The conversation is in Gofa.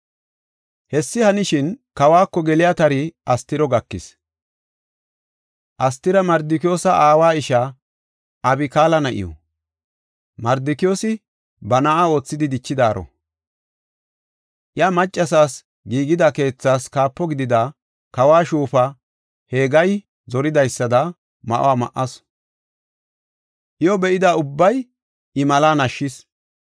Hessi hanishin, kawako geliya tari Astiro gakis. Astira Mardikiyoosa aawa ishaa Abikaala na7iw; Mardikiyoosi ba na7a oothidi dichidaaro. Iya maccasas giigida keethaas kaapo gidida kawo shuufa Hegayi zoridaysada ma7o ma7asu. Iyo be7ida ubbay I malaa nashshis.